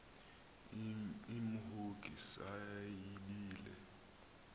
imhongi se yibile